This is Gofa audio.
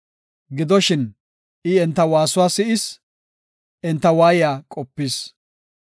Gidoshin, I enta waasuwa si7is; enta waayiya qopis.